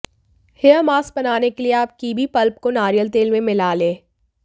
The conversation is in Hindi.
हेयर मास्क बनाने के लिए आप कीवी पल्प को नारियल तेल में मिला लें